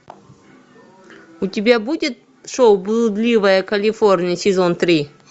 у тебя будет шоу блудливая калифорния сезон три